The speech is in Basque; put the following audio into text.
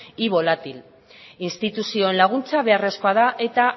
y volátil instituzioen laguntza beharrezkoa da eta